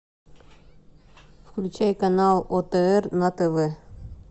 включай канал отр на тв